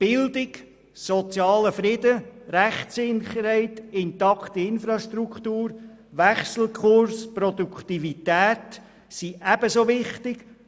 Bildung, sozialer Friede, Rechtssicherheit, intakte Infrastrukturen, Wechselkurs und Produktivität sind ebenso wichtig.